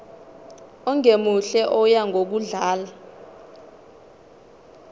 ongemuhle oya ngokudlanga